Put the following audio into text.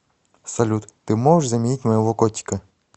салют ты можешь заменить моего котика